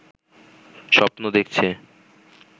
স্বপ্ন দেখছে